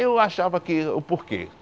Eu achava que o... Por quê?